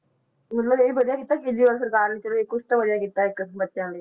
ਮਤਲਬ ਇਹ ਵੀ ਵਧੀਆ ਕੀਤਾ ਕੇਜ਼ਰੀਵਾਲ ਸਰਕਾਰ ਨੇ ਚਲੋ ਕੁਛ ਤਾਂ ਵਧੀਆ ਕੀਤਾ ਇੱਕ ਬੱਚਿਆਂ ਲਈ।